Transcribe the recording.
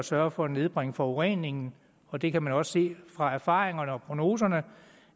sørge for at nedbringe forureningen og det kan man også se ud fra erfaringerne og prognoserne